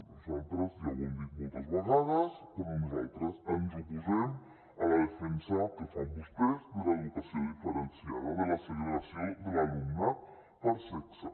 nosaltres ja ho hem dit moltes vegades però nosaltres ens oposem a la defensa que fan vostès de l’educació diferenciada de la segregació de l’alumnat per sexe